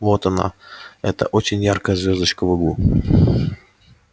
вот она эта очень яркая звёздочка в углу